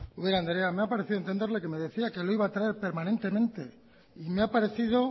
ubera andrea me ha parecido entenderle que me decía que lo iba a traer permanentemente y me ha parecido